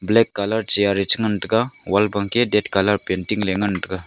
black colour chair ye chi ngantaga wall wa keh dat colour painting ley nagntaga.